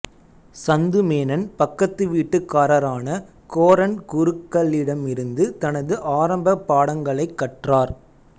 சந்து மேனன் பக்கத்துவீட்டுக்காரரான கோரன் குருக்களிடமிருந்து தனது ஆரம்பப் பாடங்களைக் கற்றார்